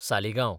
Saligao